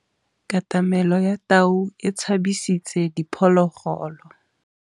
Katamêlô ya tau e tshabisitse diphôlôgôlô.